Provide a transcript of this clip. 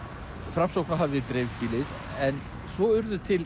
Framsókn hafði dreifbýlið en svo urðu til